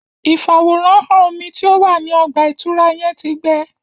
Ifaworanhan omí tí o wá ní ọgba-itura yẹn tí gbẹ